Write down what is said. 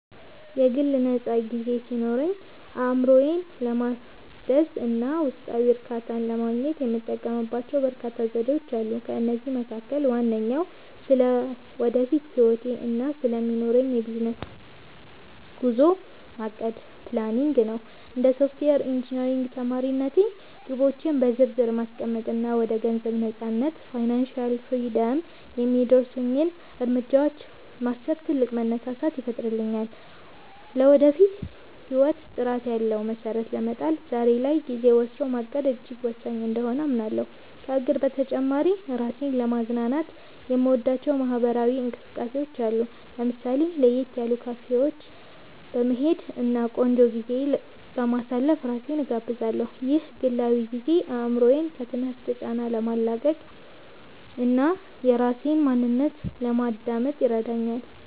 የግል ነፃ ጊዜ ሲኖረኝ፣ አእምሮዬን ለማደስ እና ውስጣዊ እርካታን ለማግኘት የምጠቀምባቸው በርካታ ዘዴዎች አሉ። ከእነዚህም መካከል ዋነኛው ስለ ወደፊት ህይወቴ እና ስለሚኖረኝ የቢዝነስ ጉዞ ማቀድ (Planning) ነው። እንደ ሶፍትዌር ኢንጂነሪንግ ተማሪነቴ፣ ግቦቼን በዝርዝር ማስቀመጥ እና ወደ ገንዘብ ነፃነት (Financial Freedom) የሚያደርሱኝን እርምጃዎች ማሰብ ትልቅ መነሳሳትን ይፈጥርልኛል። ለወደፊት ህይወት ጥራት ያለው መሰረት ለመጣል ዛሬ ላይ ጊዜ ወስዶ ማቀድ እጅግ ወሳኝ እንደሆነ አምናለሁ። ከእቅድ በተጨማሪ፣ ራሴን ለማዝናናት የምወዳቸው ማህበራዊ እንቅስቃሴዎች አሉ። ለምሳሌ፣ ለየት ያሉ ካፌዎች በመሄድ እና ቆንጆ ጊዜ በማሳለፍ ራሴን እጋብዛለሁ። ይህ ግላዊ ጊዜ አእምሮዬን ከትምህርት ጫና ለማላቀቅ እና የራሴን ማንነት ለማዳመጥ ይረዳኛል